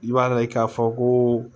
I b'a ye k'a fɔ koo